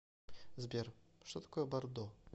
сбер что такое бордо